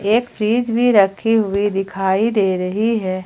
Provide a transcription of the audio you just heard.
एक फ्रिज भी रखी हुई दिखाई दे रही है।